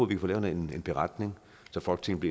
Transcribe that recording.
kan få lavet en beretning så folketinget